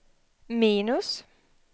minus